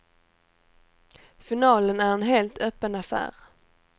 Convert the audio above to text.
Finalen är en helt öppen affär.